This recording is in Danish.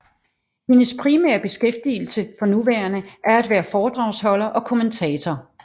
Hendes primære beskæftigelse for nuværende er at være foredragsholder og kommentator